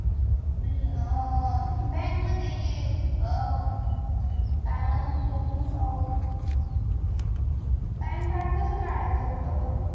आणि अह bank मध्ये हे काय म्हणत होते मी pan card कस काढायचं असत गं?